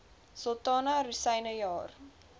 sultana rosyne jaar